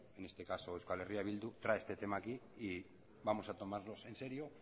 en este caso eh bildu trae este tema aquí y vamos a tomarnos en serio